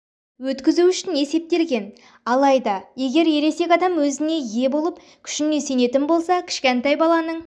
өткізу үшін есептелген алайда егер ересек адам өзіне ие болып күшіне сенетін болса кішкентай баланың